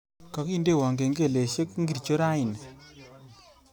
Kagindeno kengeleshek ngircho raini